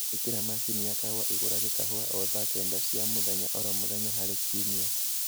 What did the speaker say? īkīra mashini ya kahūwa īrugage kahūwa o thaa kenda cia mūthenya oro mūthenya harī kiumia